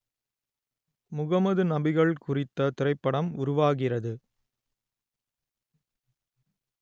முகமது நபிகள் குறித்த திரைப்படம் உருவாகிறது